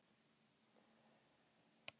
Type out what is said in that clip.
Það er mjög sárt.